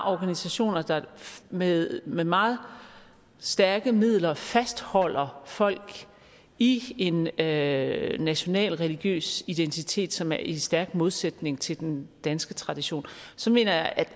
organisationer der med med meget stærke midler fastholder folk i en national national religiøs identitet som er i stærk modsætning til den danske tradition så mener jeg at